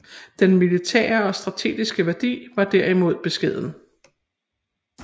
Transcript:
Den militære og strategiske værdi var derimod beskeden